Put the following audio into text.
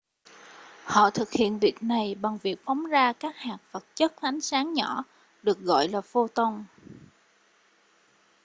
họ thực hiện việc này bằng việc phóng ra các hạt vật chất ánh sáng nhỏ được gọi là photon